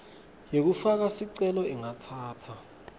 yekufaka sicelo ingatsatsa